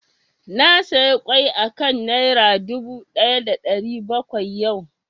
Na saya ƙwai a kan Naira dubu ɗaya da ɗari bakwai yau